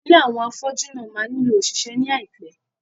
Ilé àwọn afọ́jú náà máa nílò òṣìṣẹ́ ní àìpé.